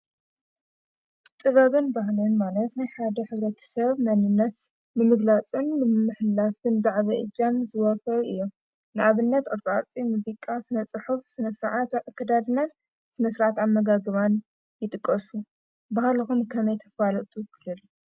ጥበብን ባህልን ማለት ናይ ሓደ ሕብረተሰብ መንነት ንምግላፅን ንምምሕልላፍን ዝዓበየ እጃም ዘለዎም እዮም፡፡ ንኣብነት ቅርፃ ቅርፂ፣ ሙዚቃ፣ ስነ ፅሑፍ ስነ ስርዓት ኣከዳድናን ስነ ስርዓት ኣመጋግባን ይጥቀሱ፡፡ ባህልኩም ከመይ ተፋልጡ?